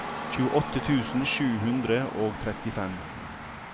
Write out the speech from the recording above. tjueåtte tusen sju hundre og trettifem